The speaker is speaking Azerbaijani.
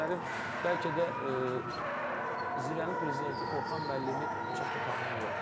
Bu günlərim bəlkə də Zirənin prezidenti Orxan müəllimi çox da tanıyan yoxdur.